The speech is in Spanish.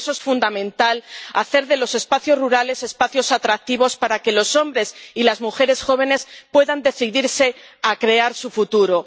Por eso es fundamental hacer de los espacios rurales espacios atractivos para que los hombres y las mujeres jóvenes puedan decidirse a crear su futuro.